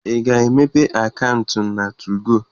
Ị ga-emepe akaụntụ na 2go!